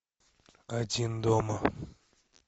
один дома